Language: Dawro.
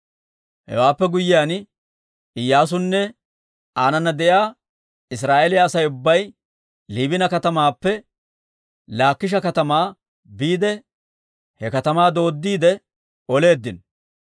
Hewaappe guyyiyaan Iyyaasunne aanana de'iyaa Israa'eeliyaa Asay ubbay Liibina katamaappe Laakisha katamaa biide he katamaa dooddiide oleeddino.